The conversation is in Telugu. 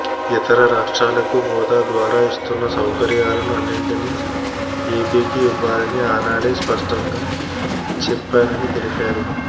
ఇతర రాష్ట్రాలకు హోదా ద్వారా ఇస్తున్న సౌకర్యాలను అన్నింటినీ ఏపీకి ఇవ్వాలని ఆనాడే స్పష్టంగా చెప్పానని తెలిపారు